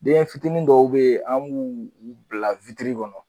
Denfitinin dɔw be yen an m'u u bila witiri kɔnɔ